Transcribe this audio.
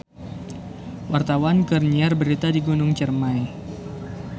Wartawan keur nyiar berita di Gunung Ciremay